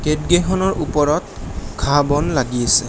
Gate কেইখনৰ ওপৰত ঘাঁহ-বন লাগি আছে।